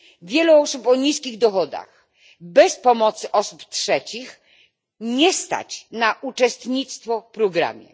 Wielu osób o niskich dochodach bez pomocy osób trzecich nie stać na uczestnictwo w programie.